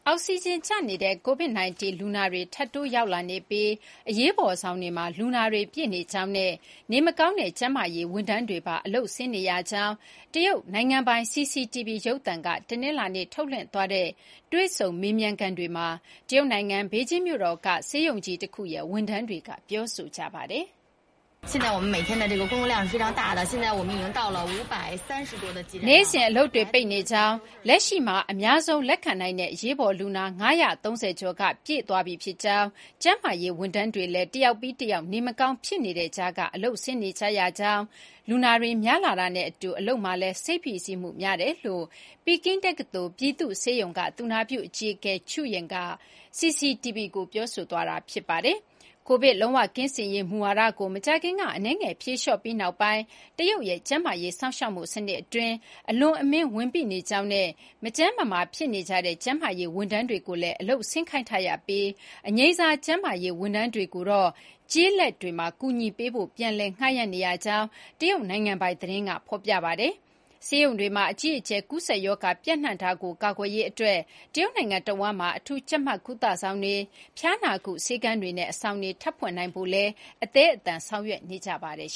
အောက်ဆီဂျင် ကျနေတဲ့ Covid-19 လူနာတွေ ထပ်တိုး ရောက်လာနေပြီး အရေးပေါ် ဆောင်တွေမှာ လူနာတွေ ပြည့်နေကြောင်းနဲ့ နေမကောင်းတဲ့ ကျန်းမာရေး ဝန်ထမ်းတွေပါ အလုပ်ဆင်းနေကြရကြောင်း တရုတ် နိုင်ငံပိုင် CCTV ရုပ်သံက တနလာၤနေ့ ထုတ်လွှင့်တဲ့ တွေ့ဆုံမေးမြန်းခန်းတွေမှာ တရုတ်နိုင်ငံ ဘေဂျင်းမြို့တော်က ဆေးရုံကြီးတခုရဲ့ ဝန်ထမ်းတွေက ပြောဆိုကြပါတယ်။ နေ့စဉ် အလုပ်တွေ ပိနေကြောင်း၊ လက်ရှိမှာ အများဆုံး လက်ခံနိုင်တဲ့ အရေးပေါ် လူနာ ၅၃၀ ကျော်က ပြည်သွားပြီ ဖြစ်ကြောင်း၊ ကျန်းမာရေး ဝန်ထမ်းတွေလည်း တယောက်ပြီး တယောက် နေမကောင်း ဖြစ်နေပေမဲ့ အလုပ်ဆင်းနေရကြောင်း၊ လူနာတွေ များလာတာနဲ့ အတူ အလုပ်မှာလည်း စိတ်ဖိစီးမှု များတယ်လို့ Peking တက္ကသိုလ်ရဲ့ ပြည်သူ့ ဆေးရုံက သူနာပြု အကြီးအကဲ Zhou Ying က CCTV ကို ပြောဆိုခဲ့တာပါ။ Covid လုံး၀ ကင်းစင်ရေး မူဝါဒကို မကြာခင်က အနည်းငယ် ဖြေလျှော့ပြီးနောက်ပိုင်းမှာ တရုတ်ရဲ့ ကျန်းမာရေး စောင့်ရှောက်မှု စနစ်အတွင်း အလွန်အမင်း ဝန်ပိနေကြောင်းနဲ့ မကျန်းမမာ ဖြစ်နေကြတဲ့ ကျန်းမာရေး ဝန်ထမ်းတွေကိုလည်း အလုပ်ဆင်းခိုင်းထားရပြီး အငြိမ်းစား ကျန်းမာရေး ဝန်ထမ်းတွေကိုလည်း ကျေးလက်တွေမှာ ကူညီပေးဖို့ ပြန်လည် ငှားယမ်းနေရကြောင်း တရုတ်နိုင်ငံပိုင် သတင်းက ဖော်ပြပါတယ်။ ဆေးရုံတွေမှာ အကြီးအကျယ် ကူးစက်ရောဂါ ပျံ့နှံ့မှုကို ကာကွယ်ရေး အတွက် တရုတ်နိုင်ငံ တဝန်းမှာ အထူးကြပ်မတ်ကုသဆောင်တွေ၊ ဖျားနာကု ဆေးခန်းတွေနဲ့ အဆောင်တွေ ထပ်ဖွင့်နိုင်ဖို့လည်း အသည်းအသန် ဆောင်ရွက်နေကြပါတယ်